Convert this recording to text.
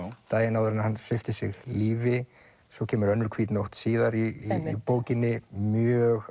daginn áður en hann svipti sig lífi svo kemur önnur hvít nótt síðar í bókinni mjög